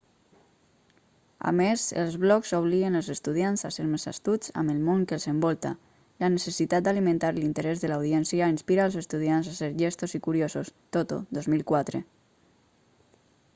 a més els blogs obliguen els estudiants a ser més astuts amb el món que els envolta". la necessitat d'alimentar l'interès de l'audiència inspira als estudiants a ser llestos i curiosos toto 2004